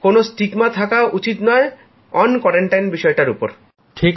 কোনো লজ্জা থাকা উচিত নয় আলাদা নজরদারীতে থাকার বিষয়টার উপর